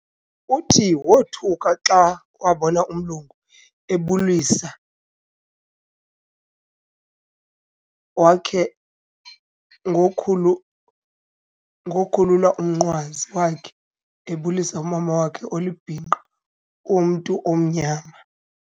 Uthi wothuka xa wabona umlungu ebulisa wakhe ngo khulu khulula umnqwazi wakhe ebulisa umama wakhe olibhinqa womntu omnyama